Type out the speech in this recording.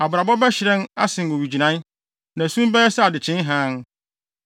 Abrabɔ bɛhyerɛn asen owigyinae, na sum bɛyɛ sɛ adekyee hann.